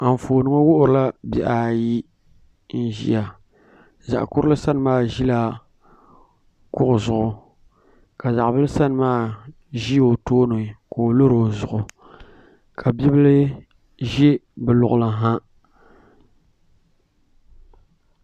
Anfooni ŋo wuhurila bihi ayi n ʒiya zaɣ kurili sani maa ʒila kuɣu zuɣu ka zaɣ bili sani maa ʒi o tooni ka bi lori o zuɣu ka bibil ʒi bi luɣuli ha